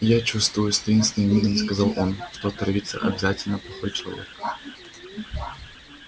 и я чувствую с таинственным видом сказал он что отравится обязательно плохой человек